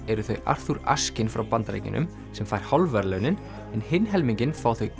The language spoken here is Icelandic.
eru þau Arthur Ashkin frá Bandaríkjunum sem fær hálf verðlaunin hinn helminginn fá þau